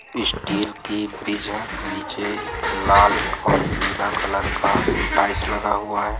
इ स्टील की ब्रिज है नीचे लाल और पीला कलर का टाइल्स लगा हुआ है।